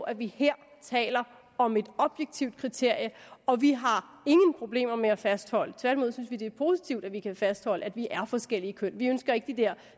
at vi her taler om et objektivt kriterie og vi har ingen problemer med at fastholde det tværtimod synes vi det er positivt at vi kan fastholde at vi er forskellige køn vi ønsker ikke de der